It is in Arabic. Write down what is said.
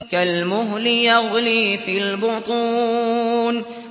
كَالْمُهْلِ يَغْلِي فِي الْبُطُونِ